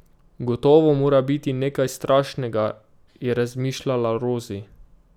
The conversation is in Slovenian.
Gotovo mora biti nekaj strašnega, je razmišljala Rozi.